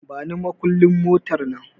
Bani makullin motar nan